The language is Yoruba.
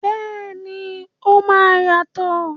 Bẹ́ẹ̀ni, o máa yàtọ̀.